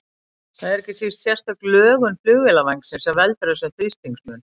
Það er ekki síst sérstök lögun flugvélarvængsins sem veldur þessum þrýstingsmun.